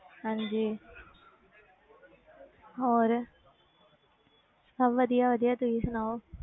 ਹਾਂਜੀ ਹੋਰ ਸਭ ਵਧੀਆ ਵਧੀਆ ਤੁਸੀਂ ਸੁਣਾਓ